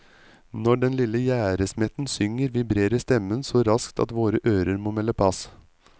Når den lille gjerdesmetten synger, vibrerer stemmen så raskt at våre ører må melde pass.